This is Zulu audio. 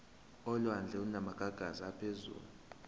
olwandle olunamagagasi aphezulu